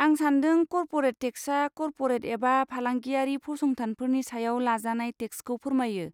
आं सान्दों कर्परेट टेक्सआ कर्परेट एबा फालांगियारि फसंथानफोरनि सायाव लाजानाय टेक्सखौ फोरमायो,